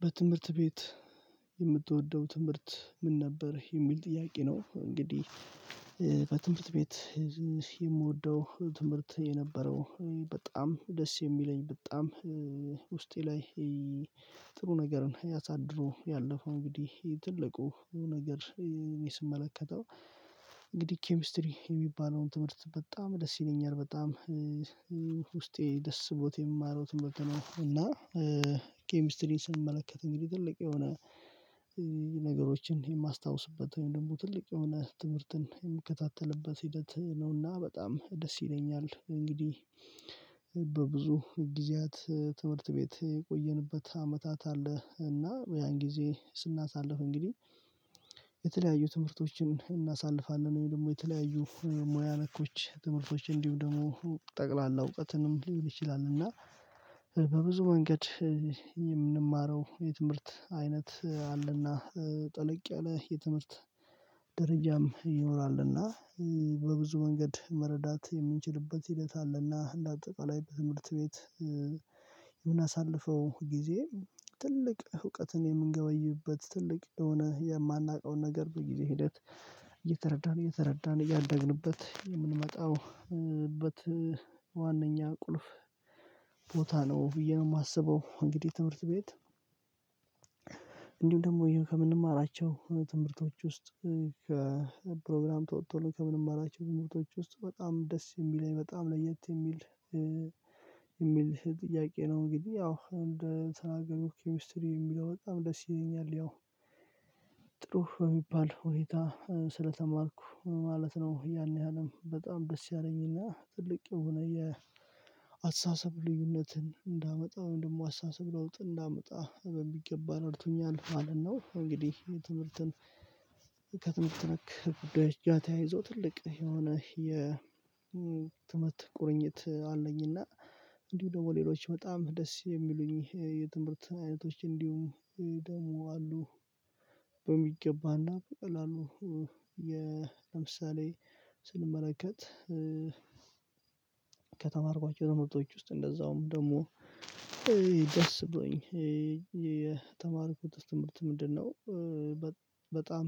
በትምህርት ቤት የምትወደው ትምህርት ምን ነበር የሚል ጥያቄ ነው? እንግዲህ በትምህርት ቤት የምወደው ትምህርት የነበረው በጣም ደስ የሚለኝ በጣም ውስጤ ላይ ጥሩ ነገርን ያሳድሮ ያለፈው እንግዲህ ትልቁ ነገር ስመለከተው እንግዲህ ኬሚስትሪ የሚባለውን ትምህርት በጣም ደስ ይለኛል በጣም ውስጤ ደስ ስቦት የማርወትም በቃ ነው። ኬሚስትሪን ስንመለከት እንግዲህ ትልቅ የሆነ ነገሮችን የማስታውስበት ደግሞ ትልቅ የሆነ ትምህርትን የሚከታተልበት ሂደት ነውና በጣም ደስ ይለኛል። እንግዲህ በብዙ ጊዜያት ትምህርት ቤት የቆየንበት አመታት አለ እና ያን ጊዜ ስናሳልፍ እንግዲህ የተለያዩ ትምህርቶችን እናሳልፋለን ወይ ደግሞ የተለያዩ ሙያ ነኮች ትምህርቶች እንዲሁ ደግሞ ጠቅላላ እውቀትንም ሊል ይችላል እና በብዙ መንገድ የምንማረው የትምህርት አይነት አለና ጥልቅ ያለ የትምህርት ድርጅትም ይኖራል። እና በብዙ መንገድ መረዳት የምንችልበት ሂደት አለና እንደ አጠቅላይ ትምህርት ቤት የምናሳልፈው ጊዜ ትልቅ እውቀትን የምንገበይበት ትልቅ የሆነ የማናውቀውን ነገር በጊዜ ሂደት እየተረዳን እየተረዳን እያደግንበት የምንመጣው ዋናኛ ቁልፍ ቦታ ነው። ብዬ ነው የማስበው እንግዲህ ትምህርት ቤት እንዲሁም ደግሞ ከምንማራቸው ትምህርቶች ውስጥ ከፕሮግራም ተወጥቶ ከምንም አላቸው ሞቶች ውስጥ በጣም ደስ የሚለኝ በጣም ለየት የሚል የሚል ጥያቄ ነው? እንግዲህ ያው እንደ ተናገሩ ኬሚስትሪ የሚለው በጣም ደስ ይለኛል ያው ጥሩ በሚባል ሁኔታ ስለተማርኩ ማለት ነው ያን ያህልም በጣም ደስ ያለኝና ትልቅ የሆነ የአስተሳሰብ ልዩነትን እንዳመጣ ወይም ደግሞ አስተሳሰብ ለውጥ እንዳመጣ በሚገባ ረድቶኛል ማለት ነው። እንግዲህ የትምህርትን ከትምህርት ተነክ በድሪያ ተያይዞ ትልቅ የሆነ የትምህርት ቁርኝት አለኝ እና እንዲሁ ደግሞ ሌሎች በጣም ደስ የሚሉኝ የትምህርት አይነቶች እንዲሁም ደግሞ አሉ። በሚገባና በቀላሉ የ ለምሳሌ ስንመለከት ከተማርኳቸው ትምህርቶች ውስጥ እንደዛውም ደግሞ ደስ ብሎኝ የተማርኩት ትምህርት ምንድነው? በጣም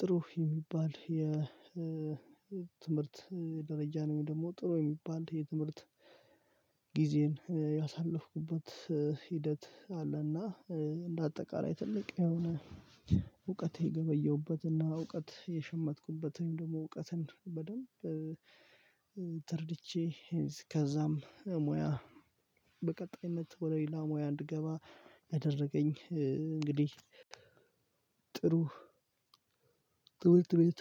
ጥሩህ የሚባል የትምህርት ደረጃ ነው። ወይንም ደግሞ ጥሩ የሚባል የትምህርት ጊዜን ያሳለፍኩበት ሂደት አለና እንደ አጠቃላይ ትልቅ የሆነ እውቀቴ ገበየሁበት እና እውቀት የሸመትኩበት ወይም ደግሞ እውቀትን በደንብ ተርድቼ ከዛም ሙያ በቀጣይነት ወደ ሌላ ሙያ እንድገባ ያደረገኝ እንግዲህ ጥሩ ጥውልት ቤት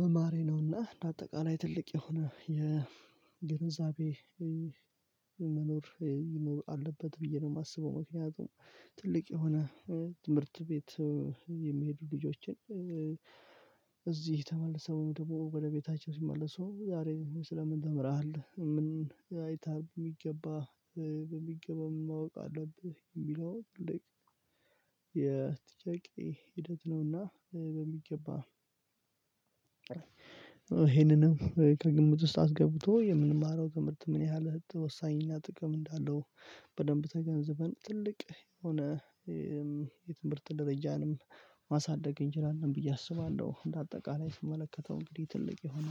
መማሬ ነውና በአጠቃላይ ትልቅ የሆነ የግንዛቤ መኖር ይኖር አለበት ብዬ ነው የማስበው። ምክንያቱም ትልቅ የሆነ ትምህርት ቤት የሚሄዱ ልጆችን እዚህ ተመልሰው ደግሞ ወደ ቤታቸው ሲመለሱ ዛሬ ስለምን ተምረሃል ምን አይታሃል የሚገባ በሚገባ ማወቅ አለብህ የሚለው ትልቅ የጥያቄ ሂደት ነውና። በሚገባ ይሄንንም ከግምት ውስጥ አስገብቶ የምንማረው ትምህርት ምን ያህል እንት ወሳኝና ጥቅም እንዳለው በደንብ ተገንዝበን ትልቅ የሆነ የትምህርት ደረጃንም ማሳደግ እንችላለን ብዬ አስባለሁ። እንደ አጠቃላይ ስመለከተው እንግዲህ ትልቅ የሆነ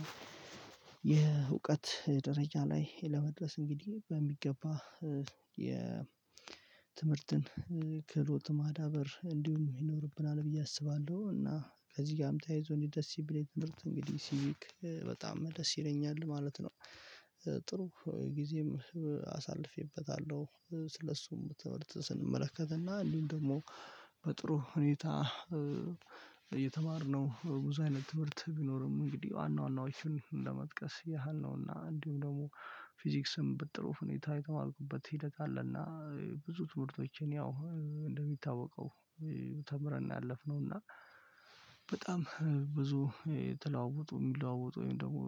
የእውቀት ደረጃ ላይ ለመድረስ እንግዲህ በሚገባ የትምህርትን ክህሎት ማዳበር እንዲሁም ይኖርብናል ብዬ አስባለሁ። እና ከዚህ ጋርም ተያይዞ እንዲህ ደስ የሚለኝ ትምህርት እንግዲህ ሲቪክ በጣም ደስ ይረኛል ማለት ነው። ጥሩ ጊዜም አሳልፌበታለሁ ስለሱም ትምህርት ስንመለከት እና እንዲሁም ደግሞ በጥሩ ሁኔታ የተማርነው ብዙ አይነት ትምህርት ቢኖርም እንግዲህ ዋና ዋናዎቹን እንደመጥቀስ ያህል ነው እና እንዲሁም ደግሞ ፊዚክስም በጥሩ ሁኔታ የተማርኩበት ሂደት አለና ብዙ ትምህርቶችን ያው እንደሚታወቀው ተምረን ያለፍነው እና በጣም ብዙ የተለዋወጡ የሚለዋወጡ ወይም ደግሞ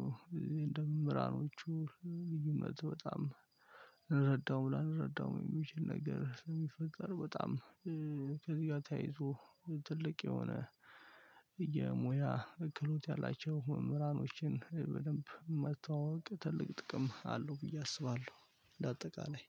እንደ መምህራኖቹ ልዩነት በጣም እንረዳው ላንረዳው የሚችል ነገር የሚፈጠር በጣም ከዚህ ጋር ተያይዞ ትልቅ የሆነ የሙያ እክሎት ያላቸው መምራኖችን በደንብ መታዋወቅ ትልቅ ጥቅም አለው ብዬ አስባለሁ። እንደ ለአጠቃላይ